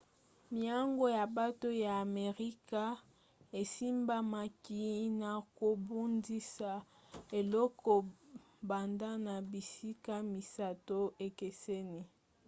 miango ya bato ya amerika esimbamaki na kobundisa eloko banda na bisika misato ekeseni